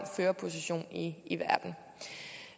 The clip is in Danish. førerposition i i verden